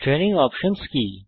training options কি